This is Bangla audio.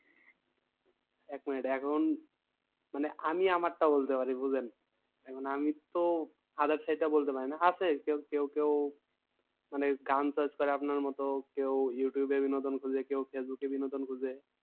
এক মিনিট এখন মানে আমি আমারটা বলতে পারি বুঝেন আমি তো other side টা বলতে পারি না আছে কেউ কেউ মানে গান search করে আপনার মতো কেউ ইউটিউবে এ বিনোদন খোঁজে কেউ ফেসবুকে বিনোদন খোঁজে।